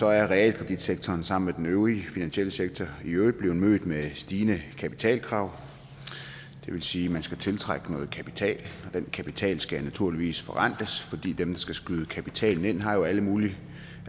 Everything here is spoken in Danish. er realkreditsektoren sammen med den øvrige finansielle sektor i øvrigt blevet mødt med stigende kapitalkrav det vil sige at man skal tiltrække noget kapital og den kapital skal naturligvis forrentes fordi dem der skal skyde kapitalen ind jo har alle mulige